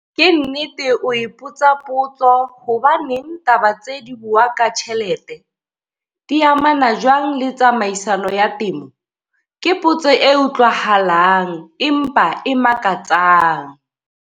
Ke nnete o ipotsa potso 'hobaneng taba tsee dibua ka tjhelete? Di amana jwang le tsamaiso ya temo? Ke potso e utlwahalang, empa e makatsang.